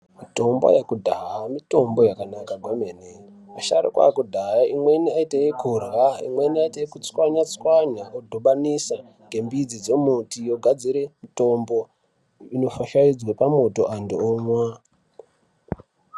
Mitombo yekudhaya mitombo yakanaka kwemene. Masharukwa ekudhahaa imweni aite yekurya imweni aite okutswanya tswanya odhibanisa ngembidzi dzomuti yogadzire mutombo inofahlaidzwe pamoto antu omwa.